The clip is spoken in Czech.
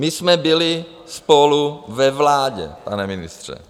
My jsme byli spolu ve vládě, pane ministře.